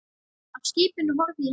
Af skipinu horfi ég heim.